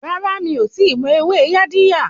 Rárá, mí ò tíì mọ ewé Yaadiya.